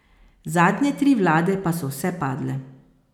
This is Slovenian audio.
Zadnje tri vlade pa so vse padle.